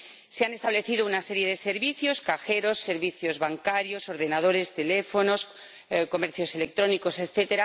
Se han establecido una serie de servicios ―cajeros, servicios bancarios, ordenadores, teléfonos, comercios electrónicos, etc.―,